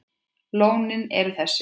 Lónin eru þessi